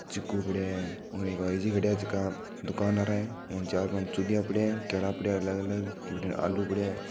चीकू पड़या है और एक बाईजी खड्या है जका दुकानदार है चार पांच चुडिया पड़या है केला पड़या है अलग अलग बठीने आलू पड़या है।